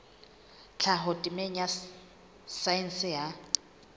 tlhaho temeng ya saense ya